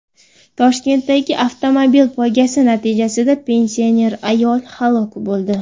Toshkentdagi avtomobil poygasi natijasida pensioner ayol halok bo‘ldi.